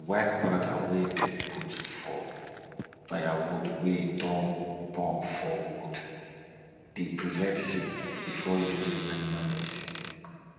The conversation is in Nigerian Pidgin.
di white powder wey dem put from firewood wey don burn for wound dey prevent sickness before using animal medicine